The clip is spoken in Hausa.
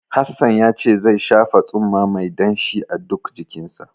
Hassan yace zai shafa tsumma mai danshi a duk jikinsa.